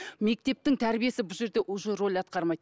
мектептің тәрбиесі бұл жерде уже роль атқармайды